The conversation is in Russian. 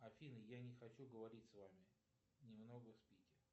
афина я не хочу говорить с вами немного спите